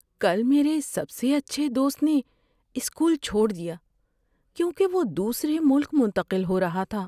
کل میرے سب سے اچھے دوست نے اسکول چھوڑ دیا کیونکہ وہ دوسرے ملک منتقل ہو رہا تھا۔